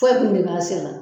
Foyi tun tɛ ban senna